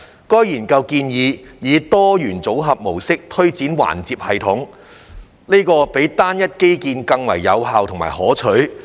該研究建議，以"多元組合"模式推展環接系統，這比單一基建更為有效和可取。